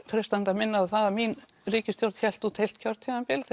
freistandi að minna á það að mín ríkisstjórn hélt út heilt kjörtímabil